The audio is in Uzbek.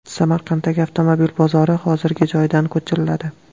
Samarqanddagi avtomobil bozori hozirgi joyidan ko‘chiriladi.